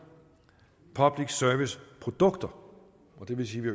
public service produkter og det vil sige at vi